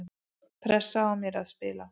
Pressa á mér að spila